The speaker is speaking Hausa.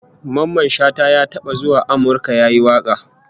Mamman Shata ya taba zuwa Amurka yayi waka